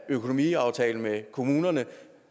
økonomiaftale med kommunerne